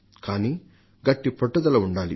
కానీ గట్టి పట్టుదల ఉండాలి